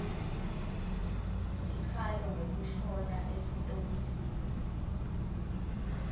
tikhalo ngekushona esitokisini